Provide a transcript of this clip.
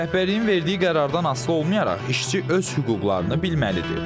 Rəhbərliyin verdiyi qərardan asılı olmayaraq işçi öz hüquqlarını bilməlidir.